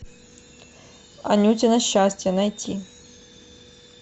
анютино счастье найти